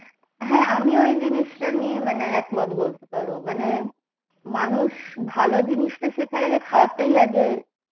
হ্যাঁ আমিও এই জিনিসটা নিয়ে একমত বলতে পারো মানে মানুষ ভালো জিনিসটা শেখার আগে খারাপটাই আগে